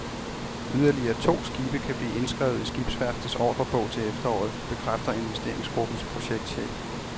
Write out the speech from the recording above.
Yderligere to skibe kan blive indskrevet i skibsværftets ordrebog til efteråret, bekræfter investeringsgruppens projektchef.